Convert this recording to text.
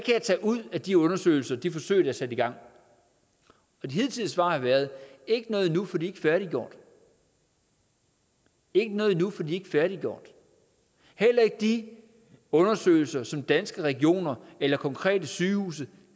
jeg tage ud af de undersøgelser de forsøg der er sat i gang de hidtidige svar har været ikke noget endnu for de er ikke færdiggjort ikke noget endnu for de er ikke færdiggjort heller ikke de undersøgelser som danske regioner eller konkrete sygehuse